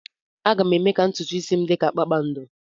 Aga m eme ka ntutu isi m dị ka kpakpando.